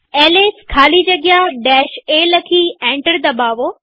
LS ખાલી જગ્યા a લખી એન્ટર દબાવો